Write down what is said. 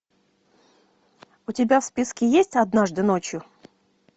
у тебя в списке есть однажды ночью